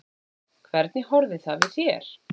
Hvernig horfði það við þér?